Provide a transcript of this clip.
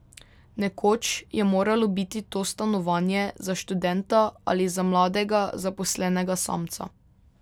Nekoč je moralo biti to stanovanje za študenta ali za mladega zaposlenega samca.